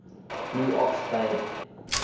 blue ox babe